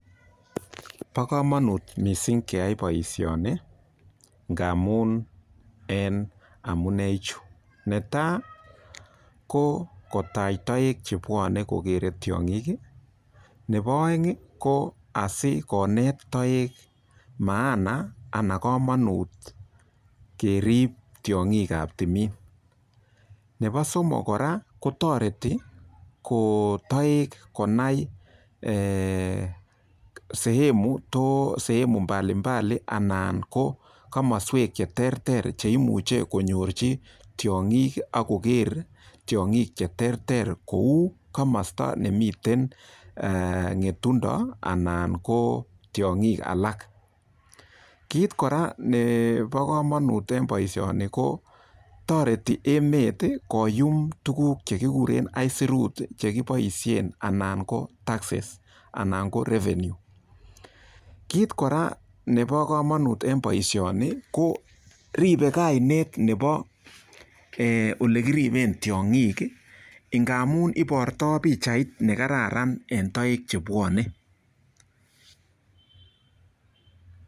Bo komanut mising keyai boishoni, ngamun en amuneichu. Netai ko asikotach toek chepwonei kokerei tiong'ik. Nebo oeng ko asi konet toek maana ana kamanut kerip tiong'iab timin. Nebo somok kora kotoreti toek konai sehemu mbalimbali ana komoswek che teretrer cheimuchei konyorchi tiong'ik ak koker tiong'ik che terter kou komosta nemitei ng'etundo anan ko tiong'ik alak. Kit kora nebo komanut eng boishoni ko toreti emet koyum tukuk chekigure aisurut chekiboishe anan ko taxes anan ko revenue. Kit kora nebo komanut eng boishoni ko ribei kanet nebo olekiribe tiong'ik ngamun ibortoi pichait ne kararan.